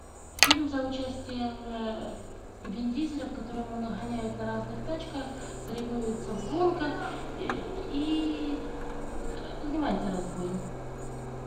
фильм с участием вин дизеля в котором он гоняет на разных тачках соревнуется в гонках и занимается разбоем